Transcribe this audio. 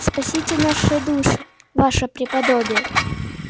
спасите наши души ваше преподобие